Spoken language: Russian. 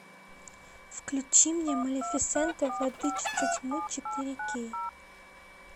включи мне малефисента владычица тьмы четыре кей